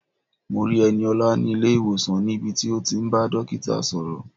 Mo rí Ẹniọlá ní ilé-ìwòsàn níbi tí ó ti ń bá dókítà sọ̀rọ̀.